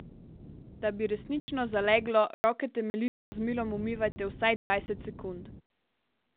Da bi resnično zaleglo, roke temeljito z milom umivajte vsaj dvajset sekund.